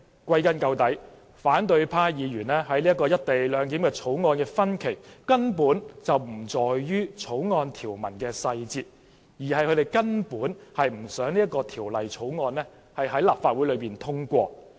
歸根究底，反對派議員對《條例草案》的分歧根本不在於條文細節，而是他們根本不想《條例草案》獲得通過。